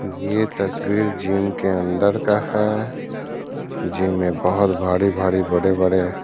ये तस्वीर जिम के अंदर का है। जिम में बहोत भारी-भारी बड़े-बड़े --